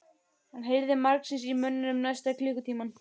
Hann heyrði margsinnis í mönnunum næsta klukkutímann.